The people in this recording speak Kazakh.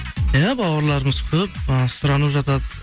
иә бауырларымыз көп ы сұранып жатады